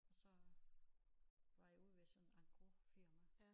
Og så var jeg ude ved sådan engrosfirma